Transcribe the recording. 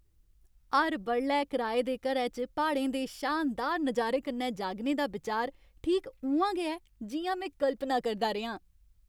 हर बडलै कराए दे घरै च प्हाड़ें दे शानदार नजारे कन्नै जागने दा बिचार ठीक उ'आं गै ऐ जि'यां में कल्पना करदा रेहा आं।